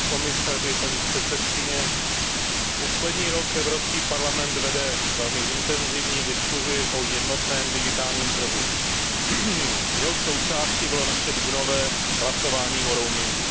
Pane komisaři, paní předsedající, poslední rok Evropský parlament vede velmi intenzivní diskusi o jednotném digitálním trhu, jehož součástí bylo naše dubnové hlasování o roamingu.